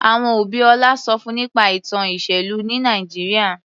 Àwọn òbí Ọlá sọ fún nípa ìtàn ìṣèlú ní Nàìjíríà.